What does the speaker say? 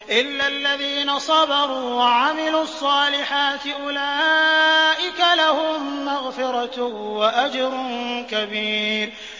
إِلَّا الَّذِينَ صَبَرُوا وَعَمِلُوا الصَّالِحَاتِ أُولَٰئِكَ لَهُم مَّغْفِرَةٌ وَأَجْرٌ كَبِيرٌ